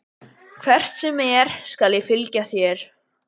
Hvert sem er skal ég fylgja þér.